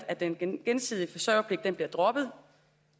at den gensidige forsørgerpligt bliver droppet